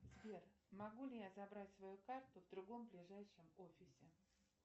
сбер могу ли я забрать свою карту в другом ближайшем офисе